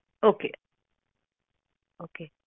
okay okay